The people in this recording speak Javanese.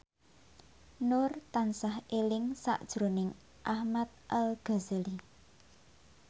Nur tansah eling sakjroning Ahmad Al Ghazali